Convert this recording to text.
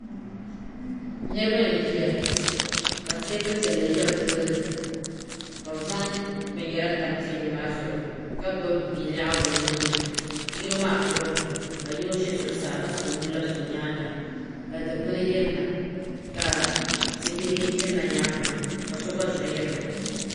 niriba n ʒɛya ka tɛbuli piɛli ʒɛ be tuuni ka zaŋ bɛni yɛra tam tɛbuli zuɣ' ka gbabi lɛɣigu be nuuni yino maa kuri mi la yino ʒɛ zuɣ saa ka nu labisi o nyɛŋa ka di kpani yirina ka tibihi yirina nyɛŋa maa ka so gba zuɣ yirina